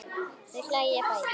Þau hlæja bæði.